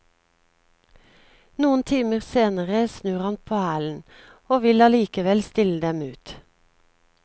Noen timer senere snur han på hælen og vil allikevel stille dem ut.